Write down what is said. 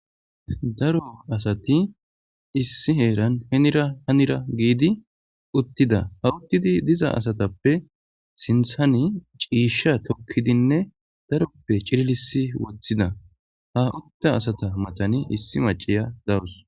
Daro asati issi heeran henira hanira giidi uttida ha uttidi diza asatappe sinthani ciisha tokkidinne daroppe cirilisi wothida ha utta asata matani issi maciya dawus